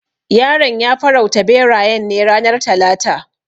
Yaron ya farauta berayen ne ranar talata.